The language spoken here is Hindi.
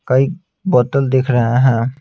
कई बोतल दिख रहे हैं।